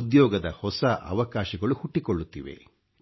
ಉದ್ಯೋಗದ ಹೊಸ ಅವಕಾಶಗಳು ಹುಟ್ಟಿಕೊಳ್ಳುತ್ತಿವೆ